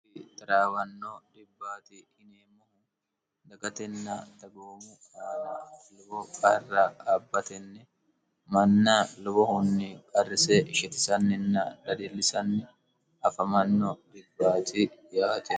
xaraawanno dhibbaati hineemmohu dagatenna tagoomu aana lubo qarra abbatenni manna lubohunni qarrise shitisanninna dadillisanni afamanno dhibbaati yaaeo